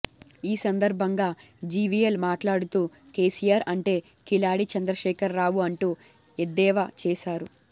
ఈ సందర్భంగా జీవీఎల్ మాట్లాడుతూ కేసీఆర్ అంటే కిలాడి చంద్రశేఖర్ రావు అంటూ ఎద్దేవ చేశారు